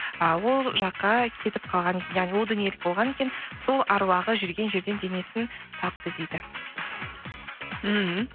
ы ол жаққа кетіп қалған яғни ол дүниелік болған екен сол әруағы жүрген жерден денесін тапты дейді мхм